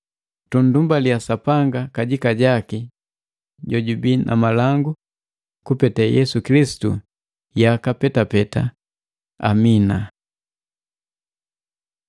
Tunndumbalia Sapanga kajika jaki jojubii na malangu, kupete Yesu Kilisitu yaka petapeta. Amina.